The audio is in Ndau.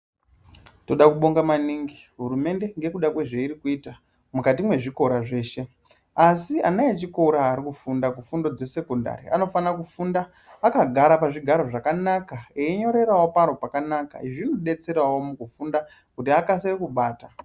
Tinoda kubonga maningi hurumende ngekuda kwezvairi kuita mukati mwezvikora zveshe asi ana echikora arikufunda zvifundo zvesekondari anofana kufunda akagara pazvigaro zvakanaka einyorerawo paro pakanaka izvi zvinodetserawo mukufunda kuti akasire kubata.